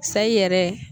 Sayi yɛrɛ